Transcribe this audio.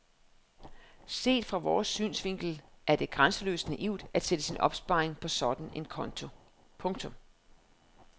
Set fra vores synsvinkel er det grænseløst naivt at sætte sin opsparing på sådan en konto. punktum